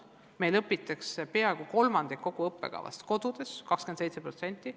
Meil õpitakse peaaegu kolmandik kogu õppekavast kodudes, täpsemalt 27%.